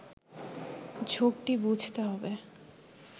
ঝোঁকটি বুঝতে হবে